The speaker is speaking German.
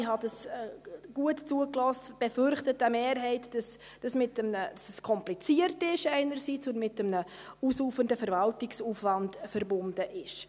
Offenbar – ich habe gut zugehört – befürchtet eine Mehrheit, dass dies einerseits kompliziert ist und mit einem ausufernden Verwaltungsaufwand verbunden ist.